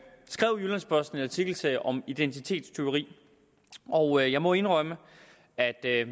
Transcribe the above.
skrev jyllands posten en artikelserie om identitetstyveri og jeg må indrømme at det er